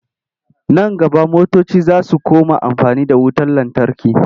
Nan gaba motoci za su koma amfani da wutar lantarki.